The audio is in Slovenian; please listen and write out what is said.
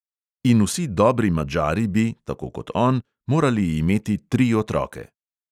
In vsi dobri madžari bi – tako kot on – morali imeti tri otroke.